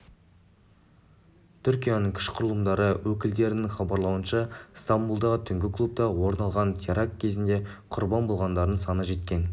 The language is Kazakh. түркияның күш құрылымдары өкілдерінің хабарлауынша стамбұлдағы түнгі клубта орын алған теракті кезінде құрбан болғандардың саны жеткен